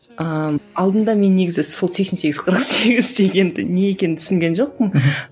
ыыы алдында мен негізі сол сексен сегіз қырық сегіз дегенді не екенін түсінген жоқпын мхм